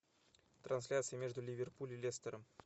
трансляция между ливерпуль и лестером